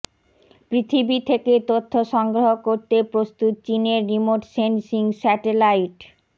পৃথিবী থেকে তথ্য সংগ্রহ করতে প্রস্তুত চিনের রিমোট সেনসিং স্যাটেলাইট